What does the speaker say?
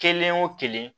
Kelen o kelen